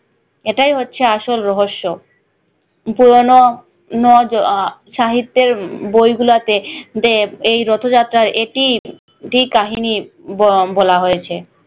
এটাই হচ্ছে আসল রহস্য পুরোনো নো সাহিত্যের উম বই গুলাতে যে এই রথ যাত্রার এটি একটি কাহিনী বলা হয়েছে